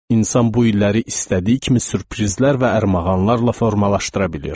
İnsan bu illəri istədiyi kimi sürprizlər və ərmağanlarla formalaşdıra bilir.